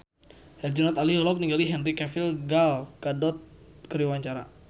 Herjunot Ali olohok ningali Henry Cavill Gal Gadot keur diwawancara